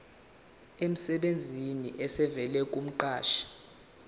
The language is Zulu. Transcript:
emsebenzini esivela kumqashi